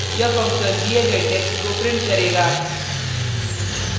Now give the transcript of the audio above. यह फंक्शन दिये गये टेक्स्ट को प्रिंट करेगा